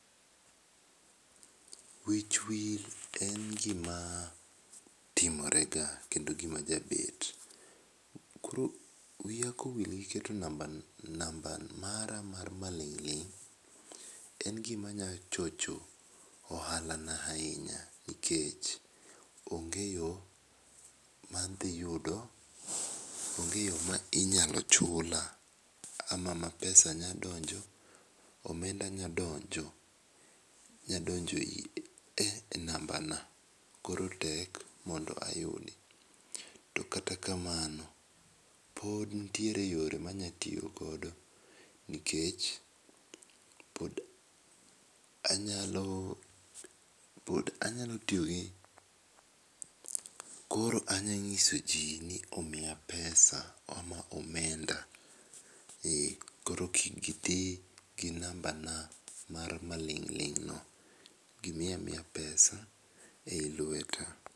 Wich wil en gi ma timore ga kendo en gi ba jabet. koro wiya ka owil gi keto namba namba mara mar ma ling' ling', to en gi ma nya chocho ohala na ahinya nikech onge yo ma inyalo chula ama ma pesa nyalo donjo omenda nya donjo e namba na koro tek mondo ayud .To kata kamano pod nitie yo ma anyalo tiyo godo nikech pod anyalo pod anyalo tiyo gi koro anyalo ng'iso jin ni omiya pesa ama omenda koro kik gi ti gi namba na mar ma ling ling no gi miya miya pesa e lweta.